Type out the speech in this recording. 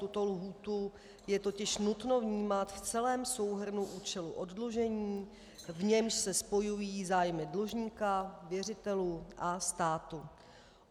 Tuto lhůtu je totiž nutno vnímat v celém souhrnu účelu oddlužení, v němž se spojují zájmy dlužníka, věřitelů a státu.